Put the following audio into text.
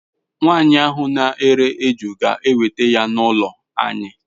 Nwanyi ahu n'ere eju ga eweta ya n'ulo anyi